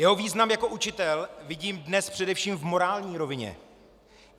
Jeho význam jako učitel vidím dnes především v morální rovině.